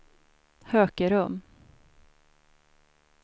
Hökerum